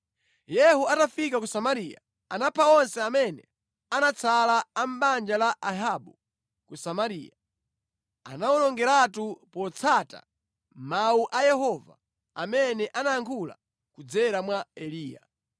Yehu atafika ku Samariya, anapha onse amene anatsala a mʼbanja la Ahabu ku Samariya; anawawonongeratu potsata mawu a Yehova amene anayankhula kudzera mwa Eliya.